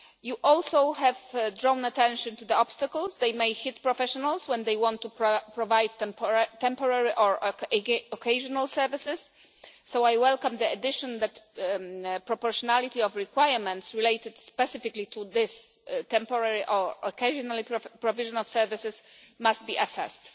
You also have drawn attention to the obstacles that may hit professionals when they want to provide temporary or occasional services, so I welcome the addition that proportionality of requirements related specifically to this temporary or occasional provision of services must be assessed.